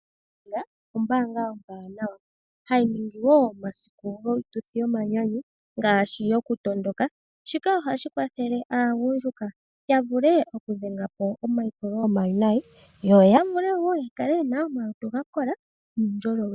NEDBANK ombaanga ombwaanawa, hayi ningi wo omasiku giituthi yomanyanyu, ngaashi okutondoka, shika ohashi kwathele aagundjuka ya vule okudhenga po omaipulo omawinayi, yo ya vule wo okukala yena omalutu ga kola nuundjolowele .